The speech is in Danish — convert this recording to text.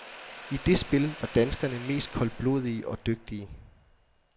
I det spil var danskerne mest koldblodige og dygtige.